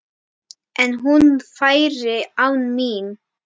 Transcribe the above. En hún færi án mín.